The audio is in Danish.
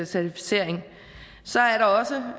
certificering så er der også